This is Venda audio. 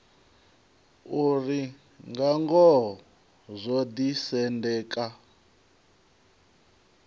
uri nga ngoho zwo ḓisendeka